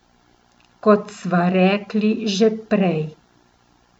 Kot sva rekli že prej ...